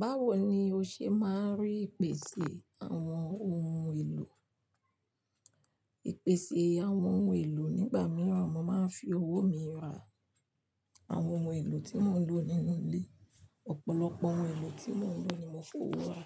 Báwo ni o ṣe máa ń rí ìpèsè àwọn ohun èlò? Ìpèsè àwọn ohun èlò nígbà mìíràn, mo máa ń fi owó mi ra a àwọn ohun èlò tí mo ń lò nínú ilé. Ọ̀pọ̀lọpọ̀ ohun èlò tí mò ń lò ni mo fowó ra.